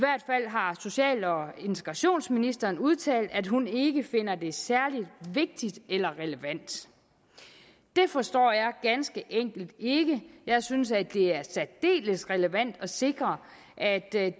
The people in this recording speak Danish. har social og integrationsministeren udtalt at hun ikke finder det særlig vigtigt eller relevant det forstår jeg ganske enkelt ikke jeg synes at det er særdeles relevant at sikre at